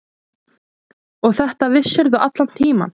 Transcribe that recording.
Og þetta vissirðu allan tímann.